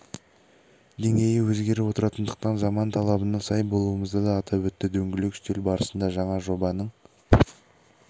деңгейі өзгеріп отыратындықтан заман талабына сай болуымызды да атап өтті дөңгелек үстел барысында жаңа жобаның